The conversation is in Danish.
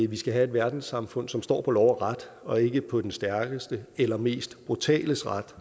vi skal have et verdenssamfund som står på lov og ret og ikke på den stærkestes eller mest brutales ret